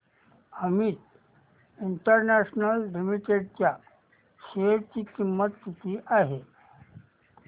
Amit international limited च्या share ची किंमत किती आहे